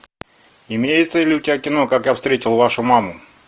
имеется ли у тебя кино как я встретил вашу маму